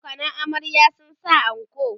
abokanan amaryar sun sa anko